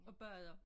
Og bader